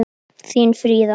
Þín Fríða.